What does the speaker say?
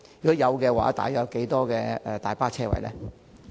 若有，約有多少大巴車位？